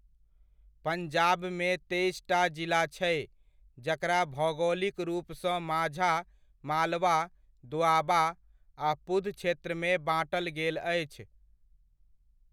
पंजाबमे तेइसटा जिला छै, जकरा भौगोलिक रुपसँ माझा, मालवा, दोआबा, आ पुध क्षेत्रमे बाँटल गेल अछि।